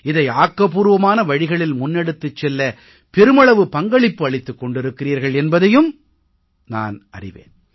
இதை ஆக்கபூர்வமான வழிகளில் முன்னெடுத்துச் செல்ல பெருமளவு பங்களிப்பு அளித்துக் கொண்டிருக்கிறீர்கள் என்பதையும் நான் அறிவேன்